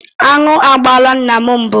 Aṅụ agbaala nna m mbụ.